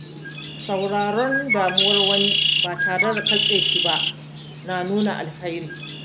Sauraron damuwar wani ba tare da katse shi ba na nuna alheri.